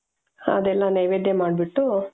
ಅದೆಲ್ಲಾ ನೈವೇದ್ಯ ಮಾಡ್ಬಿಟ್ಟು.